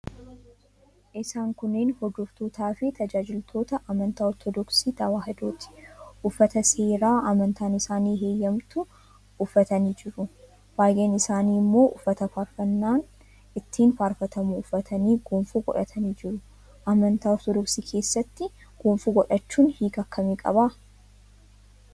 Isaan kunneen hordoftootaafi tajaajiltoota amantaa Ortodoksii Tewaahidooti. Uffata seeraa amantaan isaanii heeyyamtu uffatanii jiru. Baay'een isaanii immoo uffata faarfannaan ittiin faarfatamu uffatanii gonfoo godhatanii jiru. Amantaa Ortodoksii keessatti gonfoo godhachuun hiika akkamii qaba?